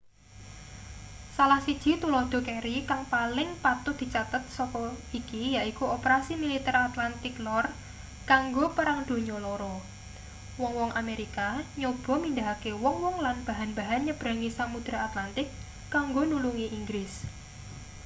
salah siji tuladha keri kang paling patut dicathet saka iki yaiku operasi militer atlantik lor kanggo perang donya ii wong-wong amerika nyoba mindhahake wong-wong lan bahan-bahan nyebrangi samudra atlantik kanggo nulungi inggris